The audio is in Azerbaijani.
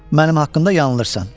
Mənim haqqımda yanılırsan.